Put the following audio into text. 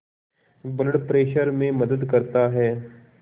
blood pressure में मदद करता है